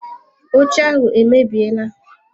Oche ahụ emebiela.